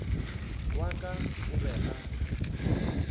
wa ka o be a